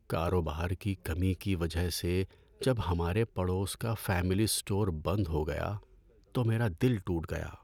کاروبار کی کمی کی وجہ سے جب ہمارے پڑوس کا فیملی اسٹور بند ہو گیا تو میرا دل ٹوٹ گیا۔